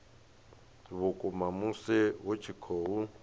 vhukuma musi hu tshi khou